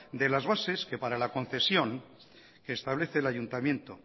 de las bases que para la concesión que establece el ayuntamiento